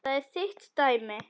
Þetta er þitt dæmi.